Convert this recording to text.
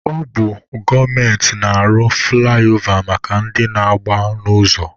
Ọ bụ gọọmenti na-arụ fụlaịova maka ndị na-agba n'ụzọ.